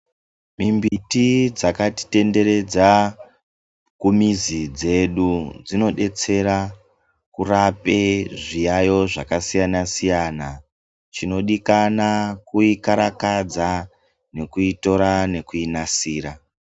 Mimbiti dzakatitenderedza kumizi dzedu dzinodetsera kurape zviyayo zvakasiyana siyana, chinodikana kuikarakadza nekuitora nekuinasira.